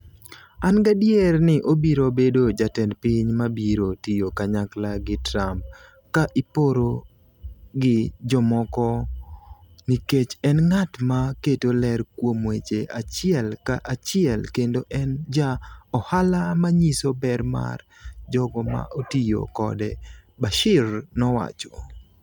An gadier ni obiro bedo jatend piny ma biro tiyo kanyakla gi Trump ka iporo gi jomoko nikech en ng'at ma keto ler kuom weche achiel ka achiel kendo en ja ohala ma nyiso ber mar jogo ma otiyo kode, Bashir nowacho.